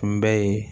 Kunbɛn ye